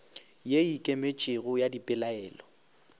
ye e ikemetšego ya dipelaelo